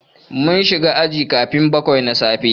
Mun shiga aji karfe bakwai na safe.